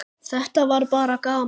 Þetta var bara gaman.